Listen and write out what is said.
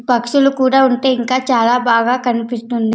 పక్షులు కూడా ఉంటే ఇంకా చాలా బాగా కనిపిస్తుంది.